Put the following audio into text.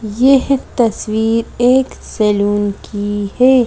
यह तस्वीर एक सैलून की है।